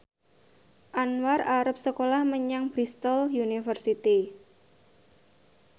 Anwar arep sekolah menyang Bristol university